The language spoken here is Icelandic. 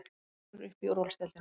Valur upp í úrvalsdeildina